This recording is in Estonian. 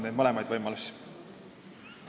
Neid mõlemaid võimalusi me oleme arutanud.